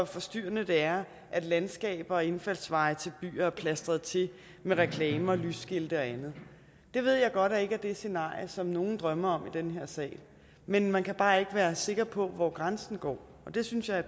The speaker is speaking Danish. forstyrrende det er at landskaber og indfaldsveje til byer er plastret til med reklamer lysskilte og andet det ved jeg godt ikke er det scenarie som nogen drømmer om i den her sal men man kan bare ikke være sikker på hvor grænsen går og det synes jeg er